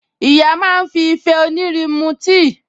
Ìyá máa fi ìfẹ́ onírin mú tíì